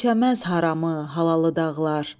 Dinşəməz haramı, halalı dağlar.